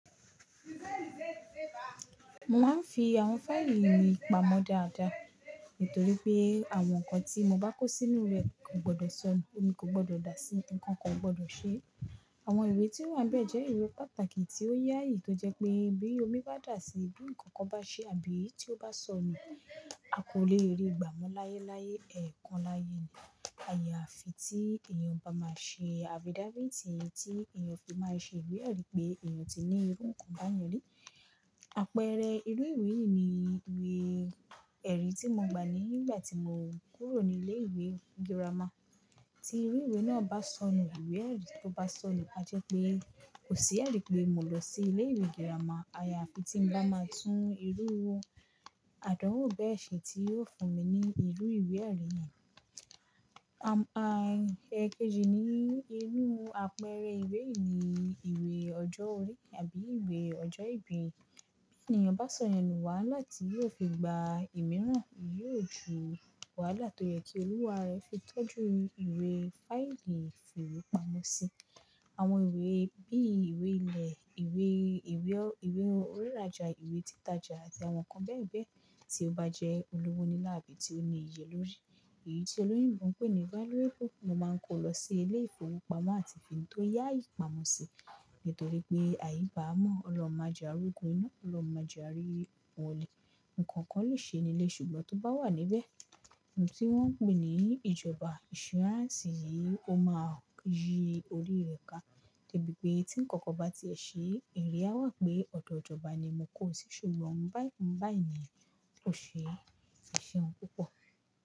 Mo máa ń fi àwọn fáìlì mi pamọ́ dáadáa nítorí pé àwọn nǹkan tí mo bá kó sínú rẹ̀ kò gbọdọ̀ sọnù, omi kò gbọdọ̀ dà á sí, ǹkan kò gbọdọ̀ ṣe. Àwọn ìwé tí ó wà bẹ́ẹ̀ jẹ́ ìwé pàtàkì tí ó yáyì, tó jẹ́ pé bí omi bá dà á sí i, bí ǹkan kan bá ṣe àbí tí ó bá sọnù, a kò lè rí i gbà mọ́ láyé láyé ẹ̀kan lári gbà. Àyàfi tí èèyàn bá máa ṣe affidavit, tí èèyàn fi máa ṣe ìwé-ẹ̀rí pé èèyàn ti ní irú nǹkan báyẹn rí. Àpẹẹrẹ irú ìwé yìí ni ìwé-ẹ̀rí tí mo gba nígbà tí mo kúrò ní ilé ìwé girama. Tí irú ìwé náà bá sọnù, ìwé-ẹ̀rí tó bá sọnù, a jẹ́ pé kò sí ẹ̀rí pé mo lọ sí ilé ìwé girama. Àyàfi tí ń bá máa tún irú àdánwò bẹ́ẹ̀ ṣe tí yóò fún mi ní irú ìwé-ẹ̀rí yẹn. Ẹ kejì ni irú àpẹẹrẹ ìwé yìí ni ìwé ọjọ́ orí àbí ìwé ọjọ́ ìbí. Bí èèyàn bá sọ̀yenu wáhala ti yóò fi gba ìmíràn, yóò ju wáhala tó yẹ kí olúwa rẹ̀ fi tọ́jú ìwé fáìlì ìfiwepamọ́ sí. Àwọn ìwé bí ìwé ilẹ̀, ìwé, ìwé, ìwé oniràja, ìwé títaja àti àwọn nǹkan bẹ́ẹ̀ bẹ́ẹ̀ tí ó bá jẹ́ olówó nílàá àbí tí ó ní iye lórí, èyí tí olóyinbo ń pe ní valuable, mo máa ń kó lọ sí ilé ìfowópamọ́ àti fi tó yáyi ìpamọ́ sí nítorí pé àibámọ́ ọlọ́run maje ari ogun iná, ọlọ́run maje aarì ọ̀ọ̀lẹ̀, ǹkan kan lè ṣe nílé ṣùgbọ́n tó bá wà níbẹ̀, ohun tí wọ́n ń pè ní ìjọba insurance yìí ó máa yí orí rẹ̀ ká. De bi pé tí ǹkan kan bá ti ẹ̀ ṣe, iwe awà pé ọ̀dọ̀ ìjọba ni mo kó o sí ṣùgbọ́n báyìí, báyìí ni o ṣe, é ṣeun púpọ̀.